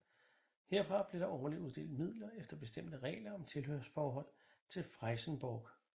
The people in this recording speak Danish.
Herfra blev der årligt uddelt midler efter bestemte regler om tilhørsforhold til Frijsenborg